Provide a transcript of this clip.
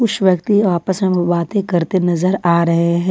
कुछ व्यक्ति आपस में बातें करते नजर आ रहे हैं।